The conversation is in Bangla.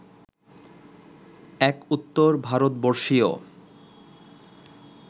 এক উত্তর ভারতবর্ষীয়